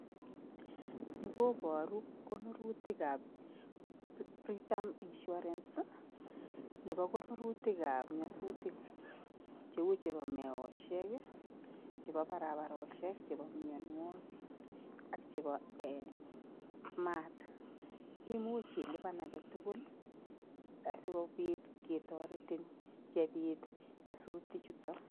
Ni kobaru kobuirutikab Britam Insurance nebo koburutikab nyasutik cheu chebo meosiek ii, chebo barabarosiek, chebo mianwogik ak chebo ee mat. Imuch ilupan age tugul asikopit kotoretin yebit nyasutik chuton